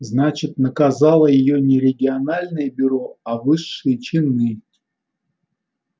значит наказало её не региональное бюро а высшие чины